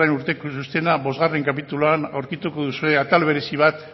urteko txostena bostgarren kapituluan aurkituko duzue atal berezi bat